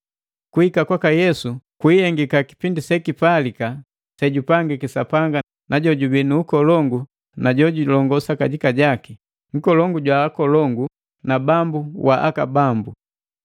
Kuhika kwaka Yesu kuihengika kipindi sekipalika sejupangiki Sapanga na jojubii nu ukolongu na jojulongosa kajika, Nkolongu jwa akolongu, na Bambu wa mabambu.